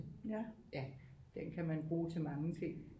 Den kan man bruge til mange ting